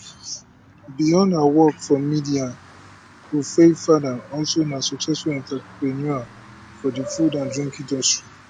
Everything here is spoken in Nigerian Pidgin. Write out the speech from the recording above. beyond her work for media wofaifada also na successful entrepreneur for di food and drink industry